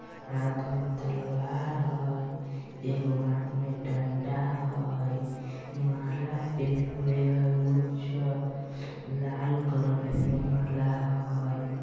हाथ में तलवार होय एगो हाथ में डंडा होय माला पहनले हय उज्जर लाल कलर के पहनने माला होय।